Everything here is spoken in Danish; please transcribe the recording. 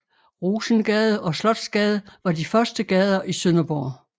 Rosengade og Slotsgade var de første gader i Sønderborg